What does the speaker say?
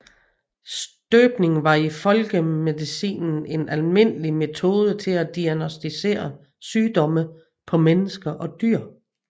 Støbning var i folkemedicinen en almindelig metode til at diagnostisere sygdomme på mennesker og dyr